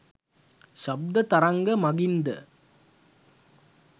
ශබ්ද තරංග මඟින් ද